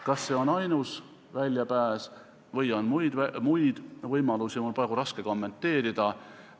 Kas see on ainus väljapääs või on muid võimalusi, on mul praegu raske kommenteerida.